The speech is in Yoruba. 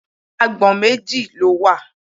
Agbọ̀n méjì ló wà.